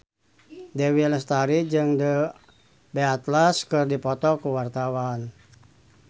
Dewi Lestari jeung The Beatles keur dipoto ku wartawan